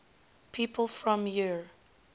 people from eure